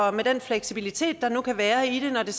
og med den fleksibilitet der nu kunne være i det når det